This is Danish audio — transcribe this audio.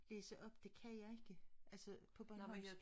Læse op det kan jeg ikke altså på bornholmsk